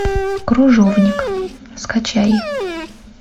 крыжовник скачай